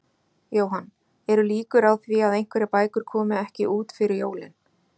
Jóhann, eru líkur á því að einhverjar bækur komi ekki út fyrir jólin?